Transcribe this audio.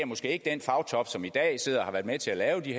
måske ikke den fagtop som i dag og har været med til at lave de